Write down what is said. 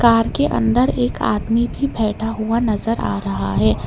Car के अंदर एक आदमी भी बैठा हुआ नजर आ रहा है।